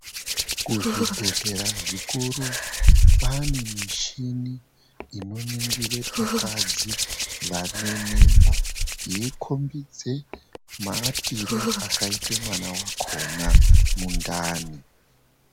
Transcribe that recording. Kuzvibhedhlera zvikuru kwaane michini inoningire vakadzi vane mimba yeikombidza maatiro akaita mwana wakona mundani.